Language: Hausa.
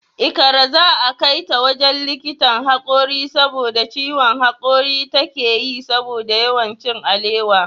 Ikra za'a kaita wajen likitan hakori saboda ciwon hakori takeyi saboda yawan cin alewa.